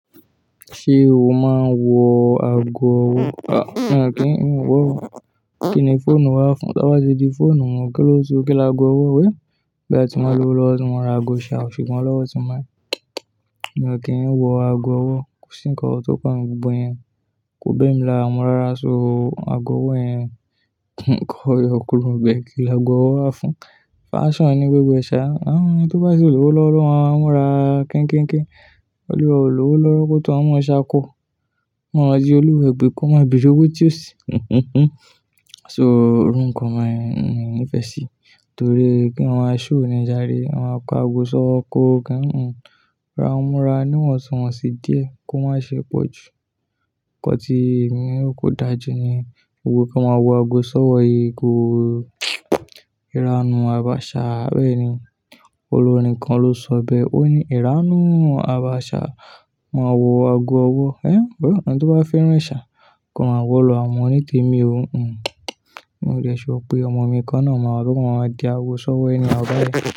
Ṣé o máa ń wọ ago ọwọ́? À, mi ò kí ń wọ ọwọ́. Kí ni fóònù máa fún? Tí a bá ti di fóònù mọ, kíló tó kí lagọ ọwọ́ wé? Bí a ti máa lọ lọ́wọ́, tí wọ́n máa ra ago ìṣà, ò fi mọ́ lọ́wọ́ tí ń máa ń. Mi ò kí ń wọ ago ọwọ́. Ko si nkan tọkàn gbogbo iyẹn. Ko bẹ́ẹ̀ ni là ń mú ara sọ ago ọwọ́ ẹ̀yin. Nǹkan ọyọ́ kúrò bẹ́ẹ̀ kí lagọ ọwọ́ á fún. Fashion ni gbogbo ẹ̀ṣà. À ń rí ni tí ó bá ti lù ú lọ́wọ́ lọ́wọ́, wọ́n á múra kẹ́nkẹ́nkẹ́. Olúwo ló lọ́wọ́ kó tó hán mọ́ ẹ̀ṣà kọ. Wọn máa di olúwọ ẹgbẹ́ kí wọ́n má bi òwe tí ó sì. So, orúkọ máa ń nífẹ̀ẹ́ sí torí pé àwọn aṣọ òníjà ré. Àwọn ako ago sọ ọkọ kẹ́hìn. Ra wọ́n múra, ní wọ̀n tí wọ́n sì díẹ̀ kó má ṣe pọ̀ jù. Ǹkan tí èmi ò kó dájú ni gbogbo kí a máa wọ ago sọ́wọ́ igi. Ìranù àbáàṣà bẹ́ẹ̀ ni. Olórin kan ló sọ bẹ́ẹ̀. Ó ní: "Ìranù àbáàṣà máa wọ ago ọwọ́." Ẹ́, bẹ́ẹ̀ ni. Ọ̀kan tó bá fẹ́ràn ẹ̀ṣà kàn wọ́ lọ́wọ́ àwọn onítẹ̀mi òun. Mo lè ṣọ pé ọmọ mi kan náà máa ló lọ máa di ago sọ́wọ́ ẹni àgbà yẹn.